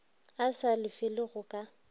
a sa lefele go ka